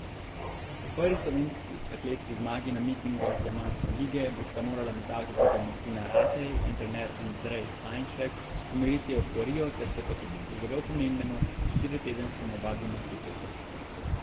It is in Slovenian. Po prvi slovenski atletski zmagi na mitingih diamantne lige bosta morala metalka kopja Martina Ratej in trener Andrej Hajnšek umiriti evforijo ter se posvetiti zelo pomembnemu štiritedenskemu vadbenemu ciklusu.